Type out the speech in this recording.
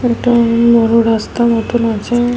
এটি-ই বড় রাস্তা মতো আছে--